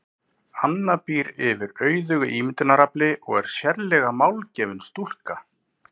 Anna býr yfir auðugu ímyndunarafli og er sérlega málgefin stúlka.